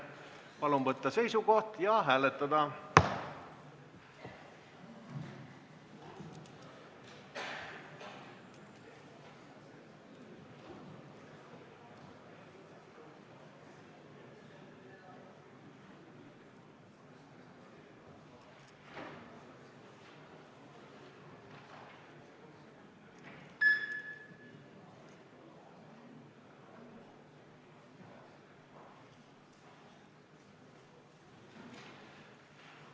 Palun võtta seisukoht ja hääletada!